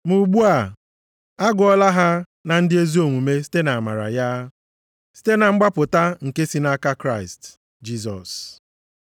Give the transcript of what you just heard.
Ma ugbu a, agụọla ha na ndị ezi omume site nʼamara ya, site na mgbapụta nke si nʼaka Kraịst Jisọs.